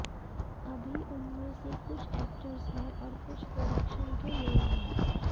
अभी उनमें से कुछ एक्टर्स है और कुछ प्रोडक्शन के लोग हैं